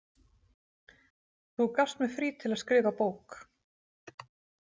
Þú gafst mér frí til að skrifa bók.